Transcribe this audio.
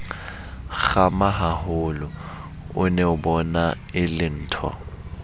kgamahaholo o neabona e lentho